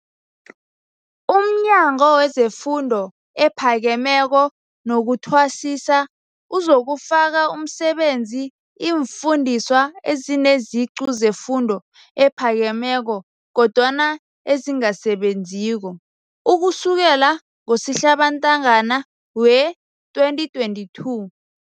UmNyango wezeFundo ePhakemeko nokuThwasisa uzokufaka emsebenzini iimfundiswa ezineziqu zefundo ephakemeko kodwana ezingasebenziko, ukusukela ngoSihlabantangana wee-2022.